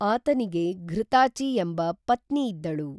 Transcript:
ಆತನಿಗೆ ಘೃತಾಚಿ ಎಂಬ ಪತ್ನಿಯಿದ್ದಳು